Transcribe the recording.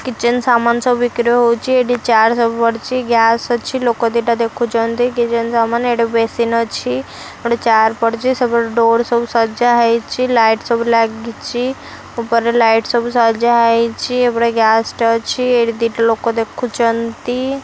Kitchen ସାମାନ ସବୁ ବିକ୍ରି ହେଉଛି ଏଠି ଚେୟାର ସବୁ ପଡିଛି ଗ୍ୟାସ ଅଛି ଲୋକ ଦିଟା ଦେଖୁଛନ୍ତି କିଚେନ ସାମାନ ଏଠି ବେସିନ୍‌ ଅଛି ଗୋଟେ ଚେୟାର ପଡିଛି ସେପଟେ ଡୋର ସବୁ ସଜା ହେଇଛି ଲାଇଟ ସବୁ ଲାଗିଛି ଉପରେ ଲାଇଟ ସବୁ ସଜା ହେଇଛି ଏପଟେ ଗ୍ୟାସ ଟେ ଅଛି ଏଠି ଦିଟା ଲୋକ ଦେଖୁଛନ୍ତି।